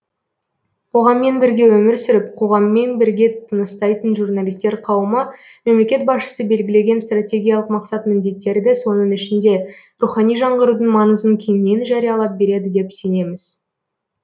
қоғаммен бірге өмір сүріп қоғаммен бірге тыныстайтын журналистер қауымы мемлекет басшысы белгілеген стратегиялық мақсат міндеттерді соның ішінде рухани жаңғырудың маңызын кеңінен жариялап береді деп сенеміз